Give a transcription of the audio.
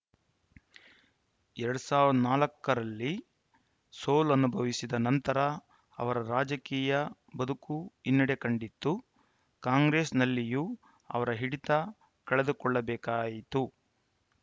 ಎರಡ್ ಸಾವಿರದ ನಾಲ್ಕ ರಲ್ಲಿ ಸೋಲನುಭವಿಸಿದ ನಂತರ ಅವರ ರಾಜಕೀಯ ಬದುಕು ಹಿನ್ನಡೆ ಕಂಡಿತ್ತು ಕಾಂಗ್ರೆಸ್‌ನಲ್ಲಿಯೂ ಅವರು ಹಿಡಿತ ಕಳೆದುಕೊಳ್ಳಬೇಕಾಯಿತು